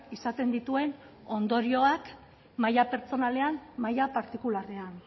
izaten dituen ondorioak maila pertsonalean maila partikularrean